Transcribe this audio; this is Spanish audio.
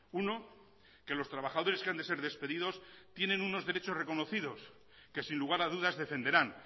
uno que los trabajadores que han de ser despedidos tienen unos derechos reconocidos que sin lugar a dudas defenderán